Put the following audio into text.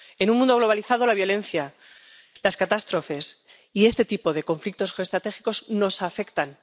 En un mundo globalizado, la violencia, las catástrofes y este tipo de conflictos geoestratégicos nos afectan.